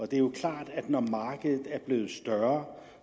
det er jo klart at når markedet er blevet større